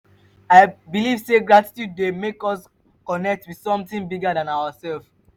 i believe say gratitude dey make us connect with something bigger than ourselves.